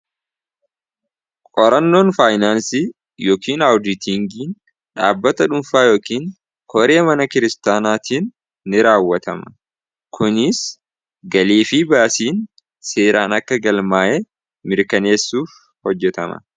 Qorannoon faayinaansi yookiin aawuditingiin dhaabbata dhuunfaa yookin koree mana kiristaanaatiin ni raawwatama kunis galiefii baasiin seeraan akka gal maa'ee mirkaneessuuf hojjetama.